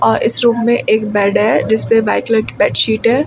और इस रूम में एक बेड है जिसपे व्हाइट कलर की बेडशीट है।